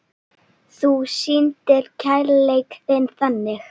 Þú sýndir kærleik þinn þannig.